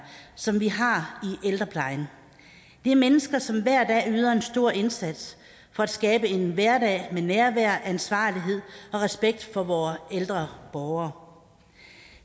som vi har i ældreplejen det er mennesker som hver dag yder en stor indsats for at skabe en hverdag med nærvær ansvarlighed og respekt for vore ældre borgere